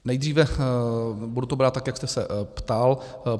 Nejdříve - budu to brát tak, jak jste se ptal.